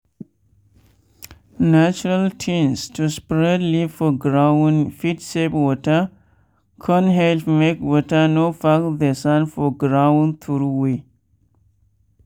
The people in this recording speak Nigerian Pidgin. natural tins l to spread leaf for ground fit save water con help make water no pack the sand for ground throway.